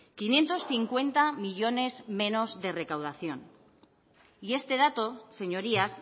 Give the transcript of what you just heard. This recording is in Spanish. quinientos cincuenta millónes menos de recaudación y este dato señorías